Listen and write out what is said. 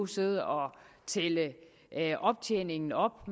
sidde og tælle optjeningen op